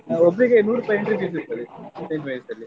ಆ ಒಬ್ರಿಗೆ ನೂರುಪಾಯ್ entry fees ಇರ್ತದೆ Saint Mary’s ಅಲ್ಲಿ.